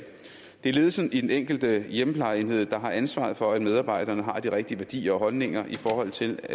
det er ledelsen i den enkelte hjemmeplejeenhed der har ansvaret for at medarbejderne har de rigtige værdier og holdninger i forhold til